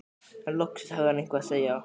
En loksins hafði hann eitthvað að segja.